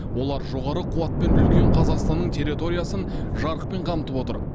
олар жоғары қуатпен үлкен қазақстанның территориясын жарықпен қамтып отыр